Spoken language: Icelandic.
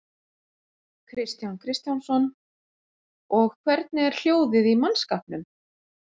Kristján Kristjánsson: Og hvernig er hljóðið í mannskapnum?